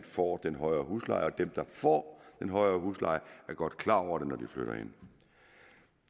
får den højere husleje og dem der får en højere husleje er godt klar over det når de flytter ind